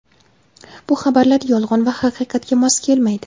bu xabarlar yolg‘on va haqiqatga mos kelmaydi.